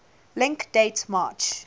link date march